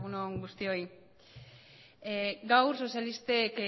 on guztioi gaur sozialistek